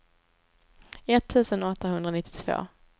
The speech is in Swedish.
etttusen åttahundranittiotvå